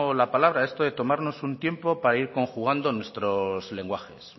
la palabra esto es de tomarnos un tiempo para ir conjugando nuestros lenguajes